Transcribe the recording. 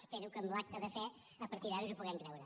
espero que amb l’acte de fe a partir d’ara ens ho puguem creure